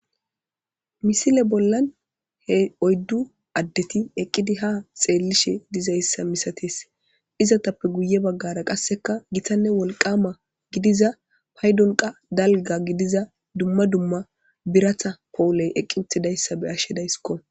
Misile bollan he oyddu addeti eqqidi ha xeellishe dizayssa misates izatappe guye baggara qasseka gitanne wolqama gidiza paydonqa dalga gidiza dumma dumma biratha powuley eqqi uthidayssa be ashshedayskko.